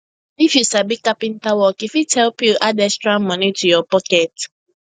if you sabi carpenter work e fit help you you add extra money to your pocket